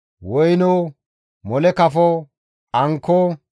woyno, haaththa kafo, ankko,